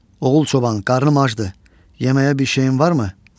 Oğul çoban, qarnım acdır, yeməyə bir şeyin varmı?